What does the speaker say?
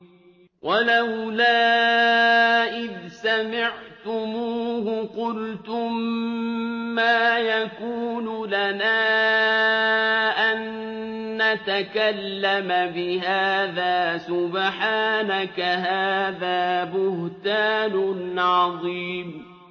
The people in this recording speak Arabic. وَلَوْلَا إِذْ سَمِعْتُمُوهُ قُلْتُم مَّا يَكُونُ لَنَا أَن نَّتَكَلَّمَ بِهَٰذَا سُبْحَانَكَ هَٰذَا بُهْتَانٌ عَظِيمٌ